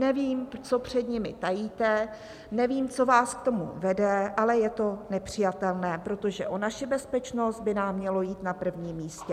Nevím, co před nimi tajíte, nevím, co vás k tomu vede, ale je to nepřijatelné, protože o naši bezpečnost by nám mělo jít na prvním místě.